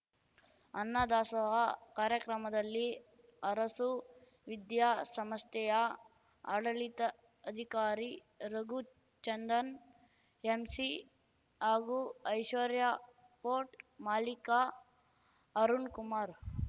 ಅನ್ನದಾಸೋಹ ಕಾರ್ಯಕ್ರಮದಲ್ಲಿ ಅರಸು ವಿದ್ಯಾಸಂಸ್ಥೆಯ ಆಡಳಿತ ಅಧಿಕಾರಿ ರಘುಚಂದನ್‌ ಎಂಸಿ ಹಾಗೂ ಐಶ್ವರ್ಯಪೋರ್ಟ್‌ ಮಾಲೀಕ ಅರುಣ್‌ಕುಮಾರ್‌